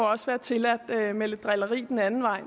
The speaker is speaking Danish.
også være tilladt med lidt drilleri den anden vej